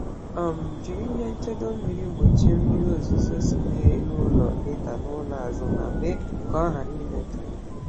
um Jiri ihe nchedo mmiri gbochie mmiri ozuzo si n’elu ụlọ ịda n’ụlọ azụ ma mee ka ọ ghara imetọ ya.